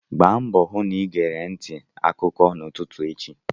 Gba mbọ hụ na ịgere ntị akụkọ n'ụtụtụ echi!